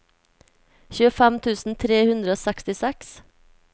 tjuefem tusen tre hundre og sekstiseks